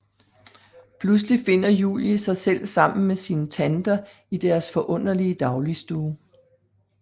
Pludselig finder Julie sig selv sammen med sine tanter i deres forunderlige dagligstue